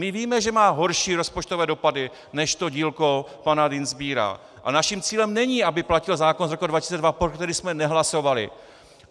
My víme, že má horší rozpočtové dopady než to dílko pana Dienstbiera, a naším cílem není, aby platil zákon z roku 2002, pro který jsme nehlasovali.